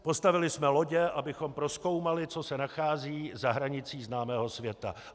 Postavili jsme lodě, abychom prozkoumali, co se nachází za hranicí známého světa.